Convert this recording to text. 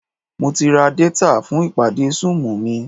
Mo ti ra détà fún ìpàdé súùmù mi